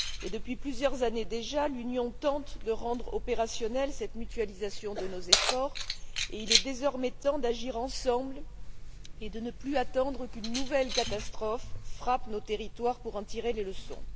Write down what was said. Depuis plusieurs années déjà, l'Union tente de rendre opérationnelle cette mutualisation de nos efforts et il est désormais temps d'agir ensemble et de ne plus attendre qu'une nouvelle catastrophe frappe nos territoires pour en tirer les leçons.